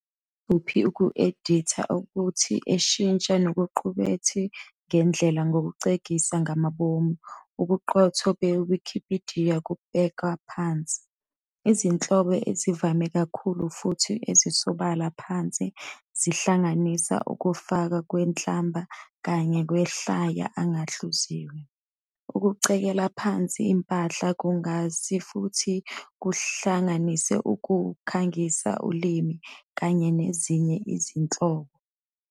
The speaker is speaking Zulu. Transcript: Yikuphi uku-editha ukuthi eshintsha nokuqukethwe ngendlela ukuxegisa ngamabomu ubuqotho beWikipidiya kubhekwa phansi. Izinhlobo ezivame kakhulu futhi ezisobala phansi zihlanganisa ukufakwa kwenhlamba kanye amahlaya angahluziwe. Ukucekela phansi impahla kungase futhi kuhlanganise ukukhangisa ulimi, kanye nezinye izinhlobo.